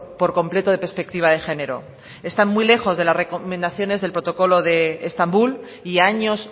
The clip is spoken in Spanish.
por completo de perspectiva de género están muy lejos de las recomendaciones del protocolo de estambul y a años